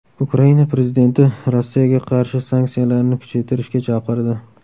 Ukraina prezidenti Rossiyaga qarshi sanksiyalarni kuchaytirishga chaqirdi.